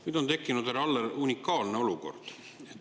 Nüüd on tekkinud, härra Aller, unikaalne olukord.